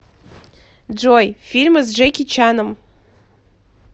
джой фильмы с джеки чаном